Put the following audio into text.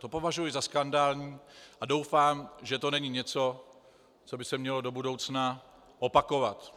To považuji za skandální a doufám, že to není něco, co by se mělo do budoucna opakovat.